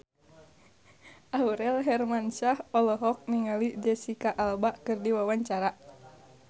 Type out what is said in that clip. Aurel Hermansyah olohok ningali Jesicca Alba keur diwawancara